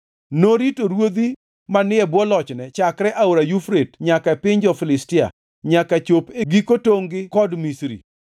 Norito ruodhi manie bwo lochne chakre Aora Yufrate nyaka e piny jo-Filistia nyaka chop e giko tongʼ gi kod Misri.